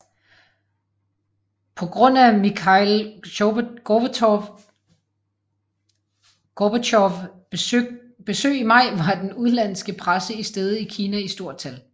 På grund af Mikhail Gorbatjovs besøg i maj var den udenlandske presse til stede i Kina i stort tal